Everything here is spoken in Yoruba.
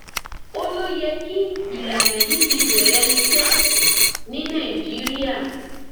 ó ló yẹ kí ìlànà yìí ti bẹrẹ iṣẹ ní nàìjíríà